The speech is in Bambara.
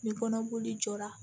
Ni kɔnɔboli jɔra